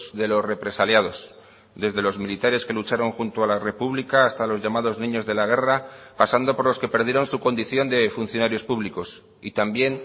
de los represaliados desde los militares que lucharon junto a la república hasta los llamados niños de la guerra pasando por los que perdieron su condición de funcionarios públicos y también